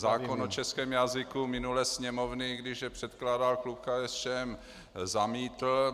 Zákon o českém jazyku minulé Sněmovny, když je předkládal klub KSČM, zamítly.